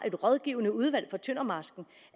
et rådgivende udvalg for tøndermarsken og